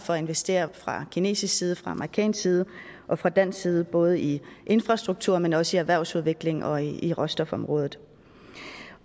for at investere fra kinesisk side og fra amerikansk side og fra dansk side både i infrastruktur men også i erhvervsudvikling og i råstofområdet